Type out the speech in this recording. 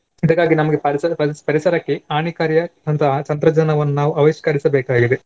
ಅದಕ್ಕಾಗಿ ನಮ್ಗೆ ಪರಿಸರ ಪರಿ~ ಪರಿಸರಕ್ಕೆ ಹಾನಿಕಾರಿಯ ಅಂತಹ ಆ ತಂತ್ರಜ್ಞಾನವನ್ನು ನಾವು ಅನುಷ್ಕರಿಸಬೇಕಾಗಿದೆ.